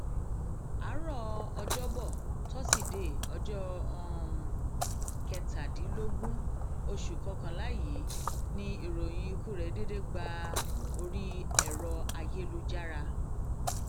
àárò ọjọbọ tọsídẹẹ ọjọ um kẹtàdínlógún oṣù kọkànlá yìí ni ìròyìn ikú rẹ déédé gba orí ẹrọ ayélujára um